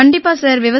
கண்டிப்பா சார்